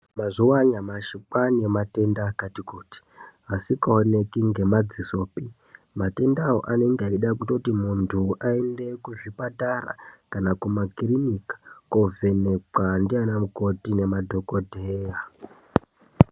Mazuwa anyamashi kwane matenda akati kuti, asikaoneki ngemadzisopi, asi matendawo anenge eida kuti muntu aende kuzvipatara kana kumakiriniki koovhenekwa ndiana mukoti nemadhokodheya.